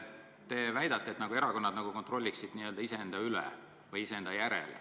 Te väidate, et erakonnad nagu kontrollivad iseennast.